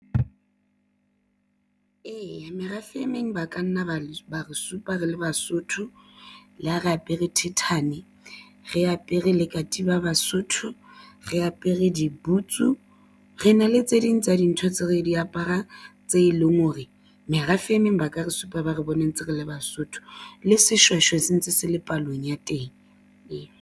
Eya, merafe emeng ba ka nna ba re supa re le Basotho le ho re apere thithane re apere le katiba Basotho re apere diboots. Re na le tse ding tsa dintho tse re di aparang tse leng hore merafe emeng ba ka re supa ba re bone ntse re le Basotho le Seshweshwe se ntse se le palong ya teng eo.